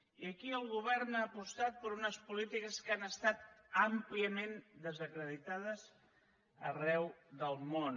i aquí el govern ha apostat per unes polítiques que han estat àmpliament desacreditades arreu del món